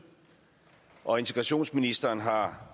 og integrationsministeren har